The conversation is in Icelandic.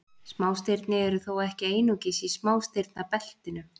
Smástirni eru þó ekki einungis í smástirnabeltinu.